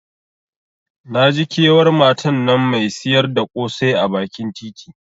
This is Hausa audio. Naji kewar matan nan Mai siyar da kosai a bakin titi.